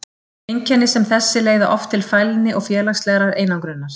Einkenni sem þessi leiða oft til fælni og félagslegrar einangrunar.